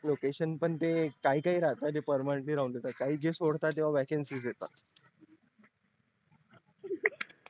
location पण ते काही काही राहतात जे permanently राहून जातात काही जे सोडतात तेव्हा vacancies येतात